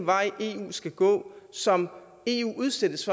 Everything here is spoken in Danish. vej eu skal gå som eu jo udsættes